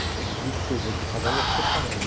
Depois de vinte e seis anos de casado, nós nos separamos.